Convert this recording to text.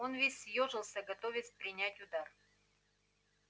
он весь съёжился готовясь принять удар